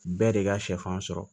Bɛɛ de ka sɛfan sɔrɔ